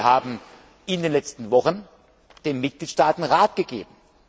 Wir haben in den letzten Wochen den Mitgliedstaaten Rat gegeben.